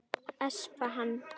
Espa hann.